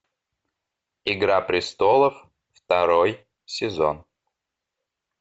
игра престолов второй сезон